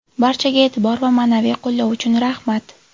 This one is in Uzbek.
Barchaga e’tibor va ma’naviy qo‘llov uchun rahmat!